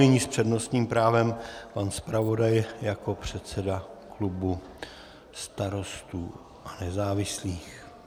Nyní s přednostním právem pan zpravodaj jako předseda klubu Starostů a nezávislých.